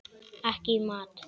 Ekki í mat.